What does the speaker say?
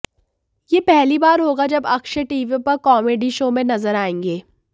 ये पहली बार होगा जब अक्षय टीवी पर कॉमेडी शो में नजर आएंगे